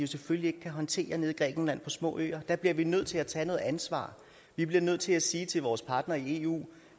selvfølgelig ikke kan håndtere nede i grækenland på de små øer der bliver vi nødt til at tage noget ansvar vi bliver nødt til at sige til vores partnere i eu